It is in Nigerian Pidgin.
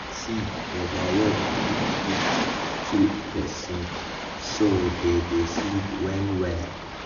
see over work fit fit kill person so dey dey sleep well well.